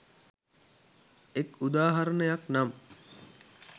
එක් උදාහරණයක් නම්